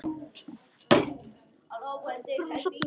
Hún þagði en